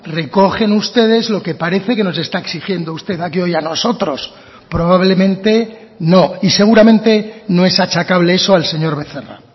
recogen ustedes lo que parece que nos está exigiendo usted aquí hoy a nosotros probablemente no y seguramente no es achacable eso al señor becerra